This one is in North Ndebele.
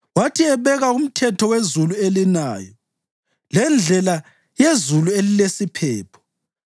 wathi ebeka umthetho wezulu elinayo lendlela yezulu elilesiphepho,